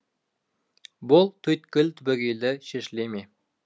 бұл түйткіл түбегейлі шешілі ме